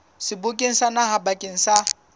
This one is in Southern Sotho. sebokeng sa naha bakeng sa